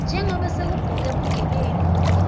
njengobe sekubhoke bugebengu